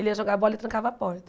Ele ia jogar bola e trancava a porta.